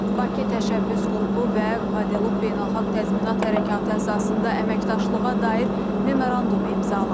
Bakı təşəbbüs qrupu və kvadelup beynəlxalq təzminat hərəkatı əsasında əməkdaşlığa dair memorandum imzalanıb.